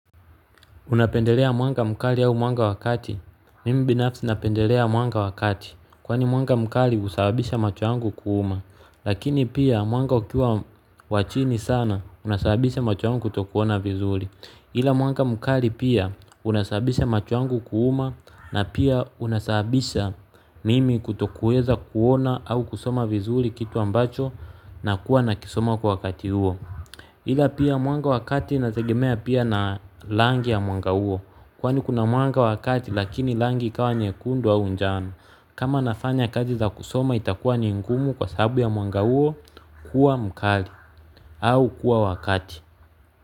Unapendelea mwanga mkali au mwanga wakati? Mimi binafsi napendelea mwanga wakati. Kwani mwanga mkali husababisha macho yangu kuuma. Lakini pia mwanga ukiwa wa chini sana unasabisha macho wangu kutokuona vizuri. Hila mwanga mkali pia unasabisha macho yangu kuuma na pia unasabisha mimi kutokuweza kuona au kusoma vizuri kitu ambacho na kuwa na kisoma kwa kati huo. Hila pia mwanga wakati nategemea pia na langi ya mwanga uo. Kwani kuna mwanga wakati lakini langi kawa nye kundu au njano. Kama nafanya kazi za kusoma itakuwa ni ingumu kwa sahabu ya mwanga huo kuwa mkali au kuwa wakati.